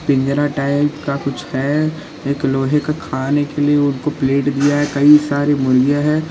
पिंजरा टाइप का कुछ है एक लोहे को खाने के लिए उनको प्लेट दिया है और कई सारी मुर्गियां है।